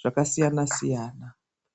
zvakasiyana siyana.